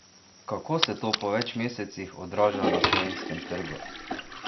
Kako se to po več mesecih odraža na slovenskem trgu?